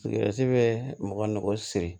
bɛ mɔgɔ nɔgɔn siri